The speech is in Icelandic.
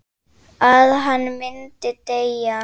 Að hann myndi deyja.